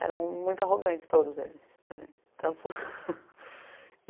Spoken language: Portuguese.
Eram muito arrogantes todos eles, quer dizer